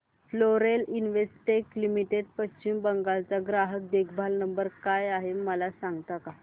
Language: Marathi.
Florence Investec limited Paschim Bengal चा ग्राहक देखभाल नंबर काय आहे मला सांगता का